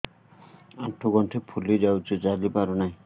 ଆଂଠୁ ଗଂଠି ଫୁଲି ଯାଉଛି ଚାଲି ପାରୁ ନାହିଁ